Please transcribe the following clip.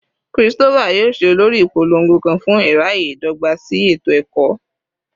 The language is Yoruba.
Christopher yoo ṣe olori ipolongo kan fun iraye dogba si eto-ẹkọ